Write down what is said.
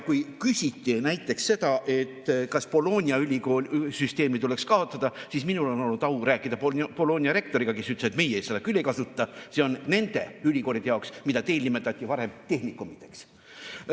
Kui küsiti näiteks seda, kas Bologna ülikooli süsteem tuleks kaotada, siis minul on olnud au rääkida Bologna rektoriga, kes ütles, et nemad seda küll ei kasuta, see on nende ülikoolide jaoks, mida meil nimetati varem tehnikumideks.